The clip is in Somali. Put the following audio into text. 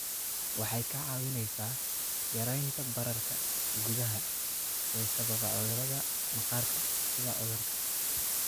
Waxay kaa caawinaysaa yaraynta bararka gudaha ee sababa cudurrada maqaarka sida cudurka